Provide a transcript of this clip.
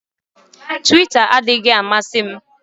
Twita adịghị amasị m